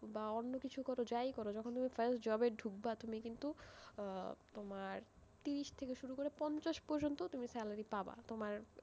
বা অন্যকিছু করো, যাই করো, যখন তুমি first job এ ঢুকব, তুমি কিন্তু, আহ তোমার তিরিশ থেকে শুরু করে পঞ্চাশ পর্যন্ত তুমি salary পাবা, তোমার,